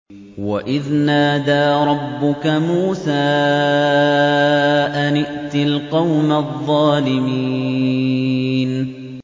وَإِذْ نَادَىٰ رَبُّكَ مُوسَىٰ أَنِ ائْتِ الْقَوْمَ الظَّالِمِينَ